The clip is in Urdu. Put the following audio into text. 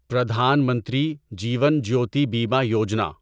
پردھان منتری جیون جیوتی بیمہ یوجنا